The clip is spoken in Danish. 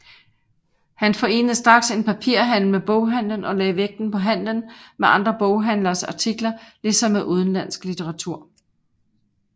Han forenede straks en papirhandel med boghandelen og lagde vægten på handelen med andre boghandleres artikler ligesom med udenlandsk litteratur